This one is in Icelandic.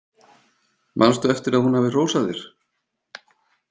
Manstu eftir að hún hafi hrósað þér?